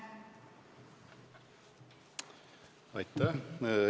Aitäh!